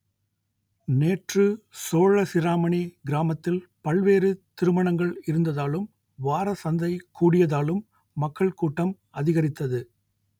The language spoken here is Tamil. நேற்று சோழசிராமணி கிராமத்தில் பல்வேறு திருமணங்கள் இருந்ததாலும் வாரசந்தை கூடியதாலும் மக்கள் கூட்டம் அதிகரித்தது